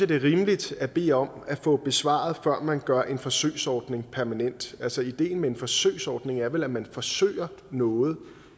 det er rimeligt at bede om at få besvaret før man gør en forsøgsordning permanent altså ideen med en forsøgsordning er vel at man forsøger noget